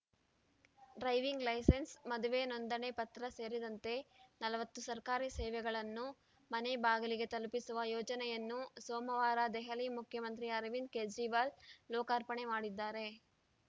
driving licence ಮದುವೆ ನೋಂದಣಿ ಪತ್ರ ಸೇರಿದಂತೆ ನಲವತ್ತು ಸರ್ಕಾರಿ ಸೇವೆಗಳನ್ನು ಮನೆ ಬಾಗಿಲಿಗೇ ತಲುಪಿಸುವ ಯೋಜನೆಯನ್ನು ಸೋಮವಾರ ದೆಹಲಿ ಮುಖ್ಯಮಂತ್ರಿ ಅರವಿಂದ ಕೇಜ್ರಿವಾಲ್‌ ಲೋಕಾರ್ಪಣೆ ಮಾಡಿದ್ದಾರೆ